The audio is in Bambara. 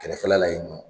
Kɛrɛfɛla la yen nɔ